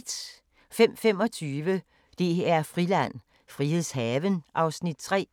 05:25: DR-Friland: Frilandshaven (Afs. 3)